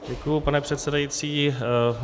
Děkuji, pane předsedající.